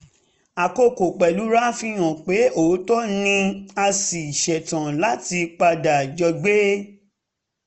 akókò pẹ̀lúra fi hàn pé òótọ́ ni a sì ṣetán láti padà jọ gbé